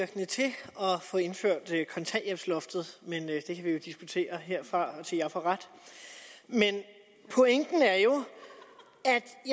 at få indført kontanthjælpsloftet men det kan vi jo diskutere herfra og til jeg får ret men pointen er jo